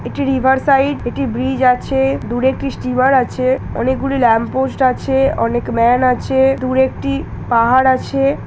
এটি river side একটি bridge আছে দূরে একটি স্টিমার আছে অনেকগুলি ল্যম্প পোস্ট আছে অনেক ম্যান আছে দূরে একটি পাহাড় আছে।